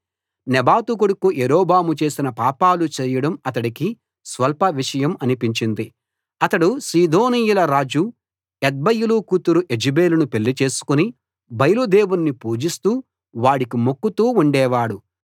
నెబాతు కొడుకు యరొబాము చేసిన పాపాలు చేయడం అతడికి స్వల్పవిషయం అనిపించింది అతడు సీదోనీయుల రాజు ఎత్బయలు కూతురు యెజెబెలును పెళ్లి చేసుకుని బయలు దేవుణ్ణి పూజిస్తూ వాడికి మొక్కుతూ ఉండేవాడు